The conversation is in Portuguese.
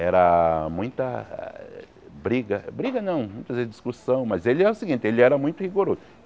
Era muita briga, briga não, muitas vezes discussão, mas ele era o seguinte, ele era muito rigoroso.